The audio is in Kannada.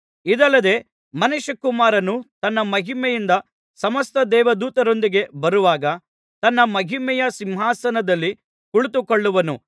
ಇದಲ್ಲದೆ ಮನುಷ್ಯಕುಮಾರನು ತನ್ನ ಮಹಿಮೆಯಿಂದ ಸಮಸ್ತ ದೇವದೂತರೊಂದಿಗೆ ಬರುವಾಗ ತನ್ನ ಮಹಿಮೆಯ ಸಿಂಹಾಸನದಲ್ಲಿ ಕುಳಿತುಕೊಳ್ಳುವನು